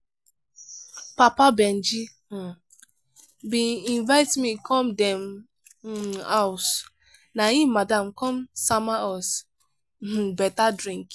papa benji um bin invite me come dem um house. na im madam come sama us um better drink.